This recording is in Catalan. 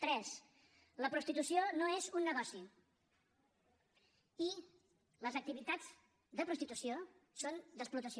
tres la prostitució no és un negoci i les activitats de prostitució són d’explotació